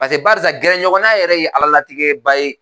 Paseke barisa gɛrɛɲɔgɔnna yɛrɛ ye ala latigɛba ye